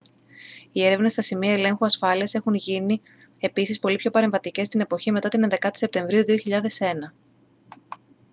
οι έρευνες στα σημεία ελέγχου ασφάλειας έχουν επίσης γίνει πολύ πιο παρεμβατικές στην εποχή μετά την 11η σεπτεμβρίου 2001